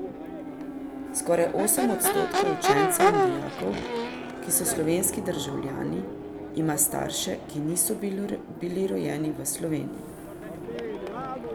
Skoraj osem odstotkov učencev in dijakov, ki so slovenski državljani, ima starše, ki niso bili rojeni v Sloveniji.